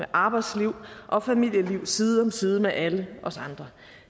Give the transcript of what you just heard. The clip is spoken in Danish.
arbejdsliv og familieliv side om side med alle os andre